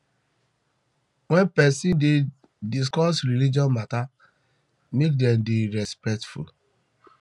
when person dey discuss religious matter make dem dey respectful